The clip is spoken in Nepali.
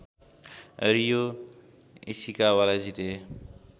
रियो इसिकावालाई जिते